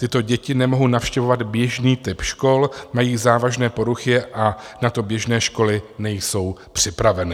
Tyto děti nemohu navštěvovat běžný typ škol, mají závažné poruchy a na to běžné školy nejsou připraveny.